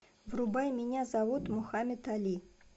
врубай меня зовут мухамед али